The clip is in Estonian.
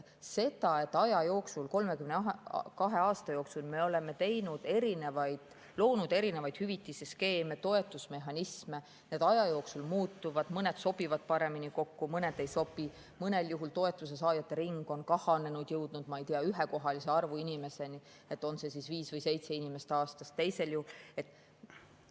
32 aasta jooksul me oleme loonud erinevaid hüvitisskeeme, toetusmehhanisme, need aja jooksul muutuvad, mõned sobivad paremini kokku, mõned ei sobi, mõnel juhul on toetuse saajate ring kahanenud, on jõudnud, ma ei tea, ühekohalise arvu inimesteni, on see siis viis või seitse inimest aastas.